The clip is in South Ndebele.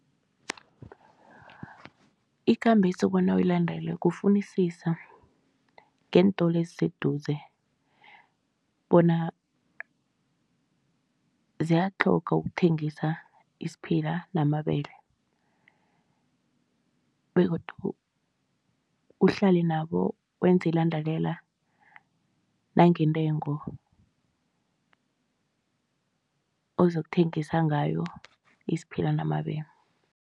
Ikambiso bona uyilandele kufunisisa ngeentolo eziseduze bona ziyatlhoga ukuthengisa isiphila namabele begodu uhlale nabo, wenze ilandelela nangentengo ozokuthengisa ngayo isiphila namabele.